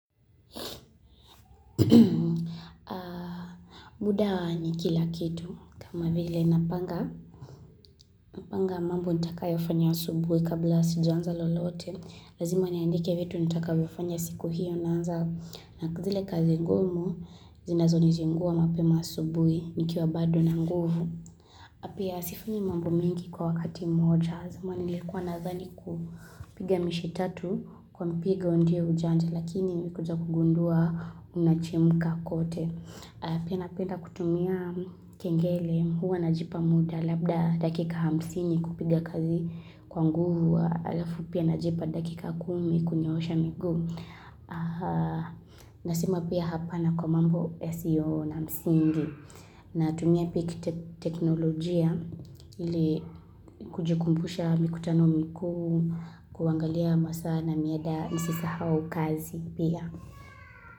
Muda wa nikila kitu kama vile napanga Napanga mambo nitakayo fanya asubuhi kabla sijaanza lolote Lazima niandike vitu nitakavyo fanya siku hiyo na anza na kuzile kazi ngumu zinazo nizinguwa mapema asubuhi nikiwa bado na nguvu na pia sifanyi mambo mengi kwa wakati mmoja zamani nilikuwa nazani kupiga mishe tatu kwa mpigo ndiyo ujanja Lakini nimekuja kugundua ninachemka kote Pia napenda kutumia kengele huwa na jipa muda labda dakika hamsini kupiga kazi kwa nguvu halafu pia na jipa dakika kumi kunyoosha miguu. Nasema pia hapana kwa mambo yasiyo na msingi. Natumia teknolojia ili kujikumbusha mikutano mikuu kuangalia masaa na mida nisisahau kazi pia.